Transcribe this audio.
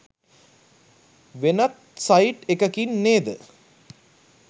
වෙනත්සයිට් එකකින් නේද?